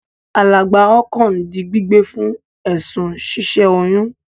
Alàgbà Okon di gbígbé fún èsùn si sẹ oyún